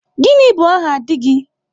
gini bu aha di gi?